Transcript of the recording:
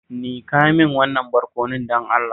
Nika min wannan barkonon, don Allah.